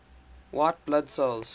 white blood cells